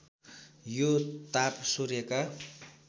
यो ताप सूर्यका